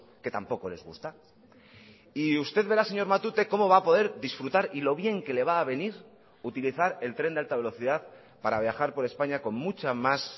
que tampoco les gusta y usted verá señor matute cómo va a poder disfrutar y lo bien que le va a venir utilizar el tren de alta velocidad para viajar por españa con mucha más